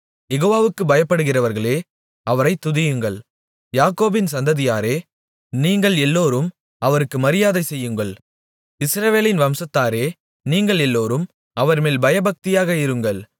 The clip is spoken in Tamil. யெகோவாவுக்குப் பயப்படுகிறவர்களே அவரைத் துதியுங்கள் யாக்கோபின் சந்ததியாரே நீங்கள் எல்லோரும் அவருக்கு மரியாதைசெய்யுங்கள் இஸ்ரவேலின் வம்சத்தாரே நீங்கள் எல்லோரும் அவர்மேல் பயபக்தியாக இருங்கள்